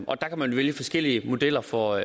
og der kan man vælge forskellige modeller for